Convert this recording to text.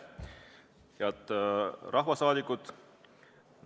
Head rahvasaadikud!